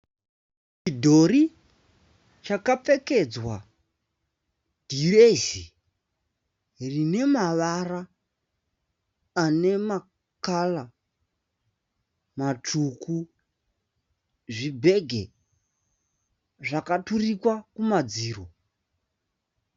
Chidhori chakapfedzwa dhiresi rinemavara anemakara matsvuku. Zvibheki zvakaturikwa kumadziro.